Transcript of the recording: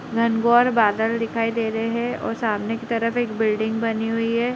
Rainbow और बादल दिखाई दे रहे हैं और सामने की तरफ एक बिल्डिंग बनी हुई है।